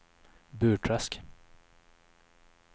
Burträsk